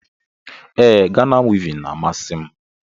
Ee, Ghana wivin n'amasi m